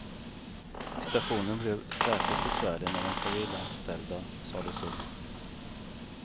Situationen blev särskilt besvärlig när de civilanställda sades upp.